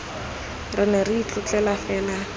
re ne re itlotlela fela